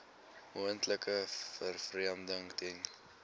moontlike vervreemding ten